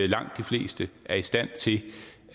langt de fleste er i stand til